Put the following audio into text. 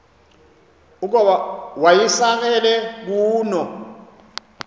ukuba wayisakele kuno